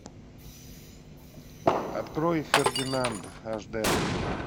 открой фердинанд аш дэ